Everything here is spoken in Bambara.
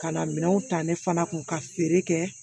Ka na minɛnw ta ne fana kun ka feere kɛ